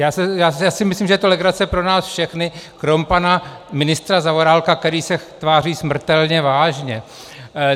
Já si myslím, že je to legrace pro nás všechny kromě pana ministra Zaorálka, který se tváří smrtelně vážně.